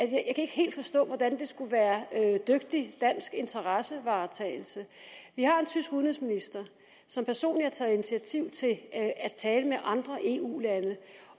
kan ikke helt forstå hvordan det skulle være dygtig dansk interessevaretagelse vi har en tysk udenrigsminister som personligt har taget initiativ til at tale med andre eu lande